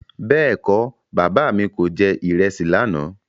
Bẹ́ẹ̀kọ́, Bàbá mi kò jẹ ìrẹsì lànà.